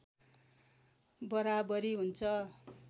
बराबरी हुन्छ